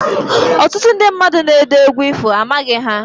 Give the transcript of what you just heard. Ọtụtụ ndị mmadụ na-ede egwu ifo, amaghị ha